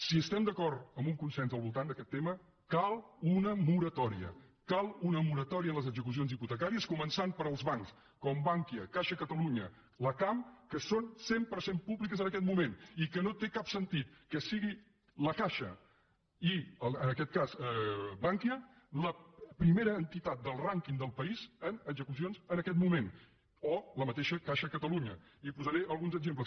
si estem d’acord amb un consens al voltant d’aquest tema cal una moratòria cal una moratòria en les execucions hipotecàries començant pels bancs com bankia caixa catalunya la cam que són cent per cent públics en aquest moment i que no té cap sentit que sigui la caixa i en aquest cas bankia la primera entitat del rànquing del país en execucions en aquest moment o la mateixa caixa catalunya i en posaré alguns exemples